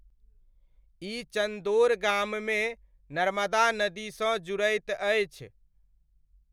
ई चन्दोड़ गाममे नर्मदा नदीसँ जुड़ैत अछि।